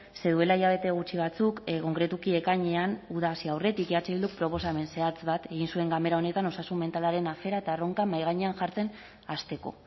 ze duela hilabete gutxi batzuk konkretuki ekainean uda hasi aurretik eh bilduk proposamen zehatz bat egin zuen ganbera honetan osasun mentalaren afera eta erronka mahai gainean jartzen hasteko